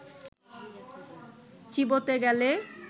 চিবোতে গেলে